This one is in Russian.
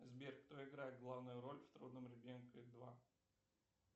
сбер кто играет главную роль в трудном ребенке два